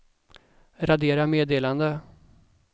radera meddelande